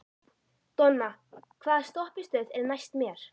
Donna, hvaða stoppistöð er næst mér?